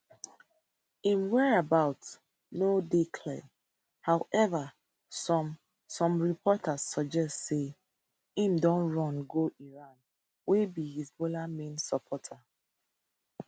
im whereabouts no dey clear however some some reports suggest say e don run go iran wey be hezbollah main supporter